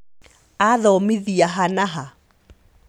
Athomithia ha na ha ?